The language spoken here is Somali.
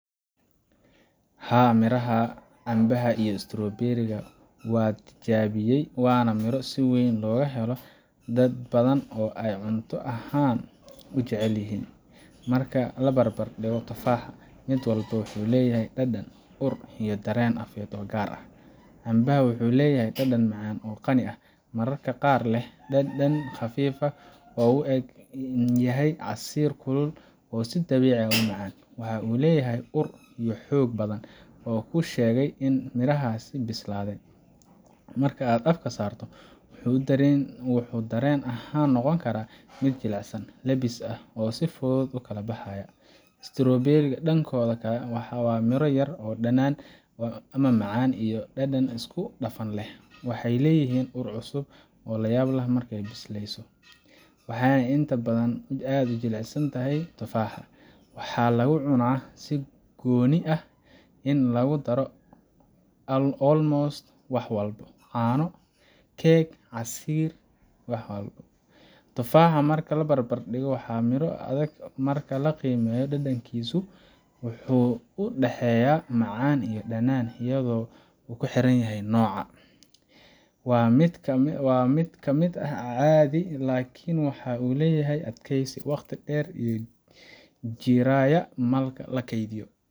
Haa, maraha sida cambaha iyo strawberries ga waa la tijaabiyaa, waana miro si weyn looga helo dad badan oo ay cunto ahaan u jecel yihiin. Marka la barbar dhigo tufaaxa, mid walba wuxuu leeyahay dhadhan, ur, iyo dareen afeed oo gaar ah. Cambaha wuxuu leeyahay dhadhan macaan oo qani ah, mararka qaar leh dhanaan khafiif ah wuxuu u eg yahay casiir kulul oo si dabiici ah u macaan. Waxa uu leeyahay ur aad u xoog badan oo kuu sheegaya in midhahaasi bislaaday. Marka aad afka saarto, wuxuu dareen ahaan noqon karaa mid jilicsan, lebbis ah, oo si fudud u kala baxaya. strawberries ka, dhankooda, waa miro yar yar oo dhadhan macaan iyo dhanaan isku dhafan leh. Waxay leeyihiin ur cusub oo la yaab leh marka la bisleeyo, waxayna inta badan ka jilicsan yihiin tufaaxa. Waxaa lagu cunaa si gooni ah ama lagu daro almost wax walba caano, keeg, casiir, wax walbo. Tufaaxa, marka la barbar dhigo, waa miro adag marka la qaniino , dhadhankiisuna wuxuu u dhexeeyaa macaan iyo dhanaan iyadoo ku xiran nooca. Waa mid aad u caadi ah, laakiin waxa uu leeyahay adkeysi, waqti dheer ayuu jirayaa marka la keydiyo.